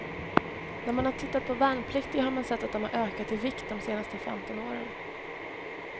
När man har tittat på värnpliktiga har man sett att de har ökat i vikt de senaste femton åren.